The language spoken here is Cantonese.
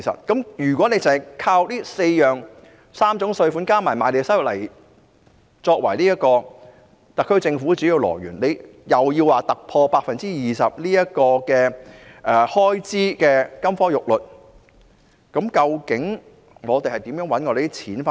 因此，單純依靠3項稅收加上賣地收入作為特區政府的主要收入來源，還要突破開支 20% 的金科玉律，究竟政府的錢從何來？